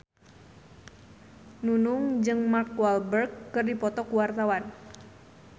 Nunung jeung Mark Walberg keur dipoto ku wartawan